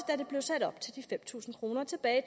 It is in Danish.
da det blev sat op til de fem tusind kroner tilbage i